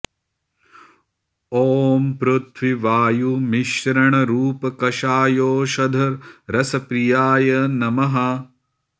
ॐ पृथ्वि वायु मिश्रण रूप कषायौषधरस प्रियाय नमः